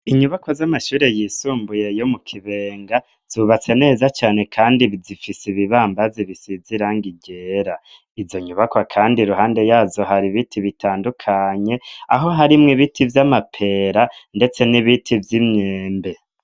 Inyubako z'amashuri yisumbuye yo mu kibenga zubatse neza cane kandi zifise ibibambazi bisize irangi gera izo nyubako kandi ruhande yazo hari ibiti bitandukanye aho harimwo ibiti by'amapera ndetse n'ibiti vy'imyembe.